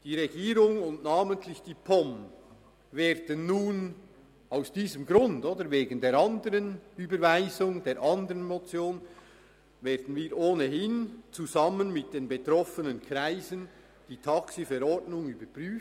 Die Regierung und namentlich die POM werden nun wegen der Überweisung der anderen Motion ohnehin zusammen mit den betroffenen Kreisen die TaxiV überprüfen.